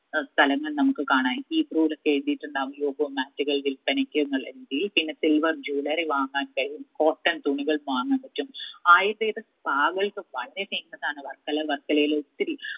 സ്ഥലങ്ങൾ നമ്മുക്ക് കാണാം ഒക്കെ എഴുതിയിട്ടുണ്ടാവും yoga mat ഉകൾ വിൽപ്പനയ്ക്ക് എന്നുള്ള പിന്നെ silver jewellery വാങ്ങാൻ കയ്യും cotton തുണികൾ വാങ്ങാൻ പറ്റും ayurvedic spa കൾക്ക് വളരെ famous ആണ് വർക്കല വർക്കളയില് ഒത്തിരി